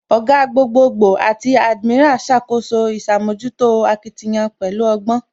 Ògá, gbogboogbo àti admiral ṣàkóso ìṣàmójútó akitiyan pẹ̀lú ọgbọ́